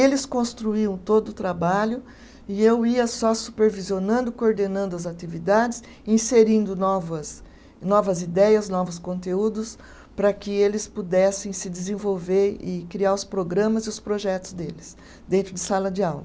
Eles construíam todo o trabalho e eu ia só supervisionando, coordenando as atividades, inserindo novas novas ideias, novos conteúdos, para que eles pudessem se desenvolver e criar os programas e os projetos deles dentro de sala de aula.